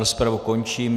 Rozpravu končím.